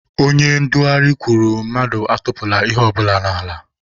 Onye ndugharị kwuru mmadụ atụpụla ihe ọbụla n'ala.